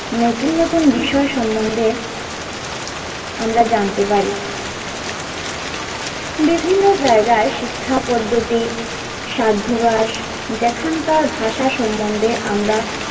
নতুন নতুন বিষয় সম্বন্ধে আমরা জানতে পারি বিভিন্ন জায়গা শিক্ষা পদ্ধতির স্বার্থবাজ যেখানকার ভাষা সম্বন্ধে আমরা,